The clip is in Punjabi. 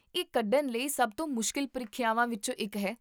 ਇਹ ਕੱਢਣ ਲਈ ਸਭ ਤੋਂ ਮੁਸ਼ਕਲ ਪ੍ਰੀਖਿਆਵਾਂ ਵਿੱਚੋਂ ਇੱਕ ਹੈ